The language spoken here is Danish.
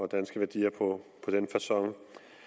danske værdier på den facon